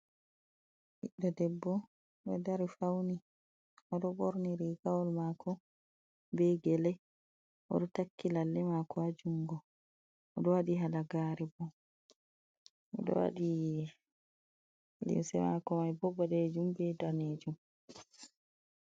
Ɓiɗɗo debbo ɗo dari fauni oɗo ɓorni rigawal mako be gele oɗo takki lalle mako ha jungo oɗo wati halagare bo oɗo wadi limse mako mai bo ɓalejum be danejum.